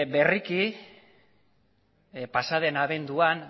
berriki pasaden abenduan